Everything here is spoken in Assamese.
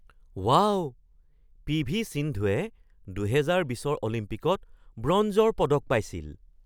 Wow, P V. সিন্ধুৱে ২০২০ৰ অলিম্পিকত ব্ৰঞ্জৰ পদক পাইছিল।